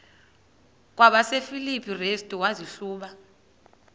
kwabasefilipi restu wazihluba